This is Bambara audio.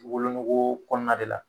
Wolonogo kɔnɔna de la